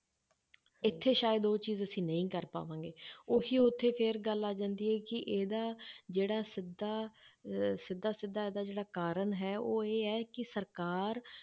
ਇੱਥੇ ਸ਼ਾਇਦ ਉਹ ਚੀਜ਼ ਅਸੀਂ ਨਹੀਂ ਕਰ ਪਾਵਾਂਗੇ ਉਹੀ ਉੱਥੇ ਫਿਰ ਗੱਲ ਆ ਜਾਂਦੀ ਹੈ ਕਿ ਇਹਦਾ ਜਿਹੜਾ ਸਿੱਧਾ ਅਹ ਸਿੱਧਾ ਸਿੱਧਾ ਇਹਦਾ ਜਿਹੜਾ ਕਾਰਨ ਹੈ ਉਹ ਇਹ ਹੈ ਕਿ ਸਰਕਾਰ